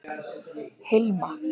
Hilma